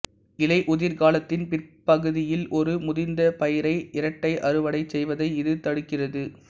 இலையுதிர்காலத்தின் பிற்பகுதியில் ஒரு முதிர்ந்த பயிரை இரட்டை அறுவடை செய்வதை இது தடுக்கிறது